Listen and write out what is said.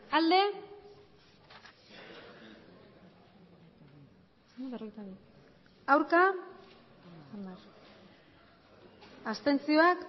emandako botoak